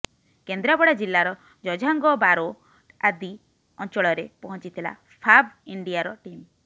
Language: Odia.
କେନ୍ଦ୍ରାପଡା ଜିଲ୍ଲାର ଜଝାଙ୍ଗ ବାରୋ ଆଦି ଅଞ୍ଚଳରେ ପହଞ୍ଚିଥିଲା ଫାବ ଇଣ୍ଡିଆର ଟିମ୍